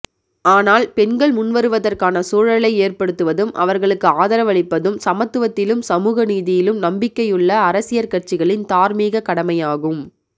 ஆனால் பெண்கள் முன்வருவதற்கான சூழலை ஏற்படுத்துவதும் அவர்களுக்கு ஆதரவளிப்பதும் சமத்துவத்திலும் சமூக நீதியிலும் நம்பிக்கையுள்ள அரசியற் கட்சிகளின் தார்மீகக் கடமையாகும்